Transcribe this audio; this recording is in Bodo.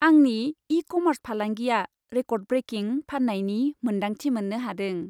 आंनि इ कमार्स फालांगिया रेक'र्ड ब्रेकिं फाननायनि मोन्दांथि मोननो हादों।